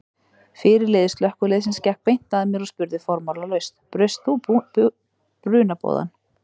Fyrirliði slökkviliðsins gekk beint að mér og spurði formálalaust: Braust þú brunaboðann?